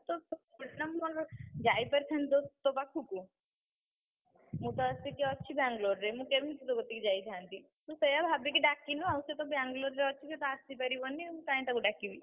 ତୁ, ଯାଇପାରିଥାନ୍ତୁ, ତୋ ପାଖୁକୁ, ମୁଁ ତ ଆସିକି ଅଛି ବ୍ୟାଙ୍ଗଲୋରରେ। ମୁଁ କେମିତି ତୋ କତିକି ଯାଇଥାନ୍ତି? ତୁ ସେୟାଭାବିକି ଡାକିନୁ ଆଉ ସିଏ ତ ବ୍ୟାଙ୍ଗଲୋରରେ ଅଛି ସିଏ ତ ଆସିପାରିବନି, ମୁଁ କାଇଁ ତାକୁ ଡାକିବି?